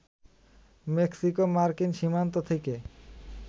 মেক্সিকো-মার্কিন সীমান্ত থেকে